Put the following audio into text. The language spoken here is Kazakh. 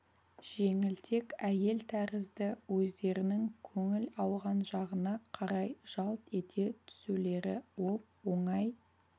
жеңілтек әйел тәрізді өздерінің көңіл ауған жағына қарай жалт ете түсулері оп-оңай